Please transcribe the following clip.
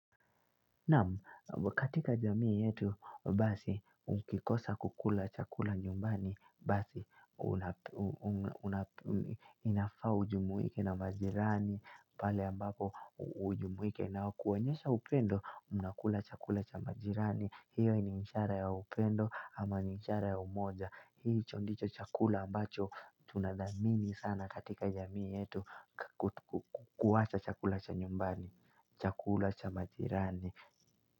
Naam katika jamii yetu basi ukikosa kukula chakula nyumbani basi inafaa ujumuike na majirani pale ambapo ujumuike nao kuwaonyesha upendo mnakula chakula cha majirani hiyo ni inshara ya upendo ama ni inshara ya umoja Hiicho ndicho chakula ambacho tunathamini sana katika jamii yetu kuwacha chakula cha nyumbani, chakula cha majirani.